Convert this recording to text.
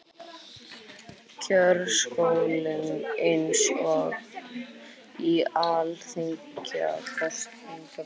Kjörsókn eins og í alþingiskosningum